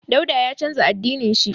Dauda ya canza addinin shi.